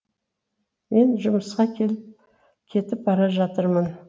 мен жұмысқа кетіп кетіп бара жатырмын